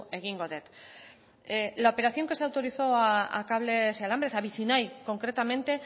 egingo dut la operación que se autorizó a cables y alambres a vicinay concretamente